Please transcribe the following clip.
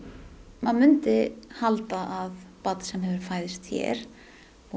maður myndi halda að barn sem hefur fæðst hér og